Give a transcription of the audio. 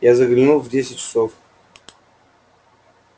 я загляну в десять часов